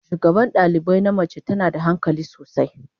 Shugaban dalibai na mace tana da hankali sosai.